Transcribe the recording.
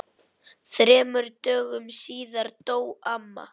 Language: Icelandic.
Þremur dögum síðar dó amma.